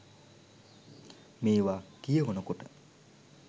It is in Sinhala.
මේවා කියවනකොට